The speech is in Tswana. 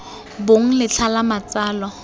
bong d letlha la matsalo